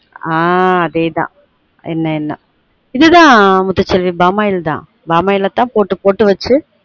ஆஹ் அதே தான் எண்ணெய் எண்ண இது தான் முத்து செல்வி பாமாயில் தான் பாமாயில்ல தான் போட்டு போட்டு வச்சு